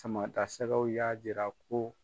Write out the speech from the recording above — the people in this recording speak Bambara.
Sama ta sɛgɛw y'a jira ko